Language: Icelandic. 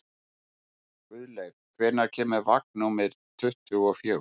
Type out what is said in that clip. Guðleif, hvenær kemur vagn númer tuttugu og fjögur?